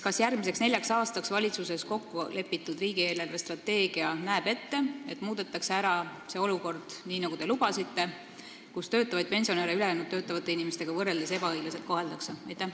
Kas järgmiseks neljaks aastaks valitsuses kokku lepitud riigi eelarvestrateegia näeb ette, et muudetakse ära see olukord, nii nagu te lubasite, kus töötavaid pensionäre ülejäänud töötavate inimestega võrreldes ebaõiglaselt koheldakse?